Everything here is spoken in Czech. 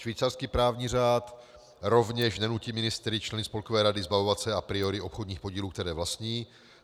Švýcarský právní řád rovněž nenutí ministry členy spolkové rady zbavovat se a priori obchodních podílů, které vlastní.